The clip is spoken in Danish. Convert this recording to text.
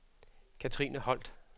Katrine Holt